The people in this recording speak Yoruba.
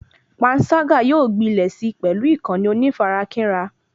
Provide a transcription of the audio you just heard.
Pańṣágà yóò gbilẹ̀ sí pẹlú ìkànnì onífarakínra